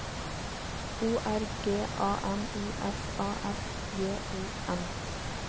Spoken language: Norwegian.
O R G A N I S A S J O N